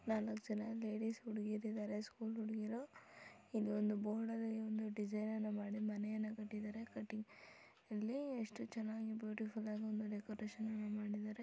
ನಲಕ್ ಜನ ಲೇಡೀಸ್ ಹುಡ್ಗಿರಿದರೆ ಸ್ಕೂಲ್ ಹುಡ್ಗಿರು ಇದು ಬೋರ್ಡ್ ಅಲ್ಲಿ ಡಿಸೈನ್ ಮಾಡಿ ಮನೆ ಕಟ್ಟಿದರೆ ಎಲ್ಲಿ ಬ್ಯುಟಿಫುಲ್ಲ್ ಆಗಿ ಡೆಕೋರೇಷನ್ ಮಾಡಿದರೆ